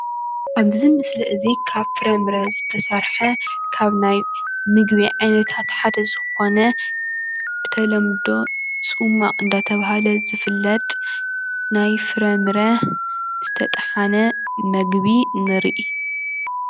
እዚ ምስሊ እዚ ካብ ፍረምረ ዝተሰርሐ ካብ ናይ ምግቢ ዓይነታት ሓደ ዝኾነ ብተለምዶ ፅሟቕ እንናተባህለ ዝፍለጥ ናይ ፍረምረ ዝተጠሓነ ምግቢ ንሪኢ፡፡